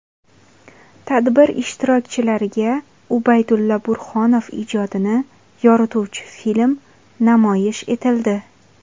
Tadbir ishtirokchilariga Ubaydulla Burhonov ijodini yorituvchi film namoyish etildi.